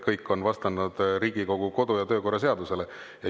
Kõik on vastanud Riigikogu kodu‑ ja töökorra seadusele.